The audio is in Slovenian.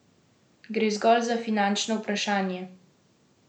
Gre zgolj za finančno vprašanje?